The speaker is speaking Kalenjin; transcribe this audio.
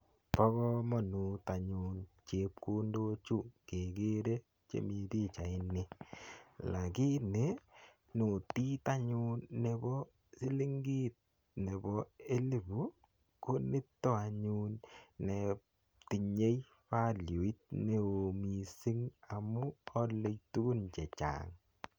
Pa kamanut anyun chepkondokchu kekere chemi pichaini lakini notit anyun ne pa silingit nepo elipu ko nito anyun ne tinyei valuit ne oo missing' amu ale tugun che chang'.